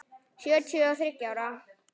Sjötíu og þriggja ára!